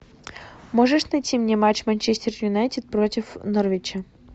можешь найти мне матч манчестер юнайтед против норвича